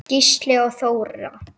Gísli og Þóra.